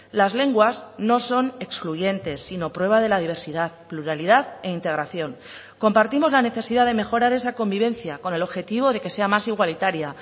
las lenguas no son excluyentes sino prueba de la diversidad pluralidad e integración compartimos la necesidad de mejorar esa convivencia con el objetivo de que sea más igualitaria